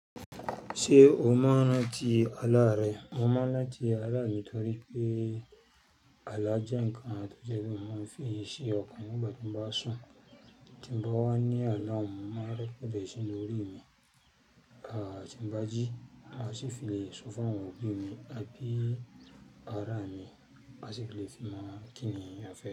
Ṣé o mọ ọ́nà ti àlá rẹ? Mo mọ rànti àlá mi nítorí pé àlá jẹ́ ǹkan tó jẹ́ pé mo máa ń fi ṣe ọkàn nígbà tí mo bá sùn. Tí mo bá wà ní àná, mo máa record ẹ sẹ̀linu órí mi. Tí mo bá jí, màá sì fi le sọ fún àwọn òbí mi àbí ara mi má sì fi le fi mọ kíni a fẹ́